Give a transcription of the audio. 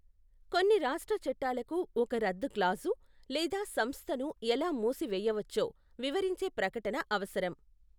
కొన్ని రాష్ట్ర చట్టాలకు ఒక రద్దు క్లాజు, లేదా సంస్థను ఎలా మూసివేయవచ్చో వివరించే ప్రకటన అవసరం.